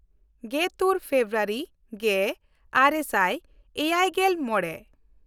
ᱜᱮᱛᱩᱨ February ᱜᱮᱼᱟᱨᱮ ᱥᱟᱭ ᱮᱭᱟᱭᱜᱮᱞ ᱢᱚᱬᱮ